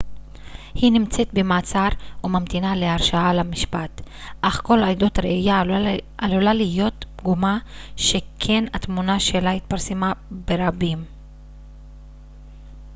היא נמצאת במעצר וממתינה להרשעה ולמשפט אך כל עדות ראייה עלולה להיות פגומה שכן התמונה שלה התפרסמה ברבים